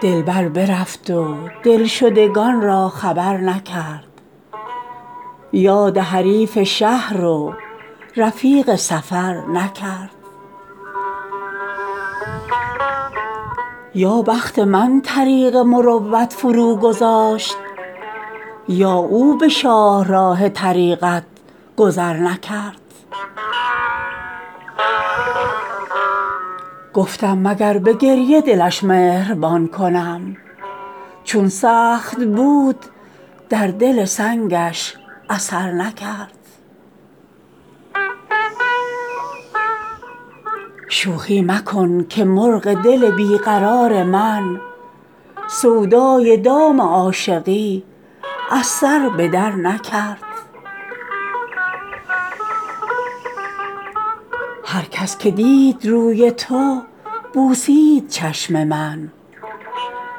دلبر برفت و دلشدگان را خبر نکرد یاد حریف شهر و رفیق سفر نکرد یا بخت من طریق مروت فروگذاشت یا او به شاهراه طریقت گذر نکرد گفتم مگر به گریه دلش مهربان کنم چون سخت بود در دل سنگش اثر نکرد شوخی مکن که مرغ دل بی قرار من سودای دام عاشقی از سر به درنکرد هر کس که دید روی تو بوسید چشم من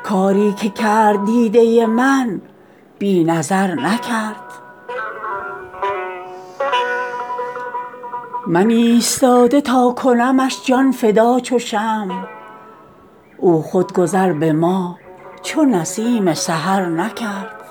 کاری که کرد دیده من بی نظر نکرد من ایستاده تا کنمش جان فدا چو شمع او خود گذر به ما چو نسیم سحر نکرد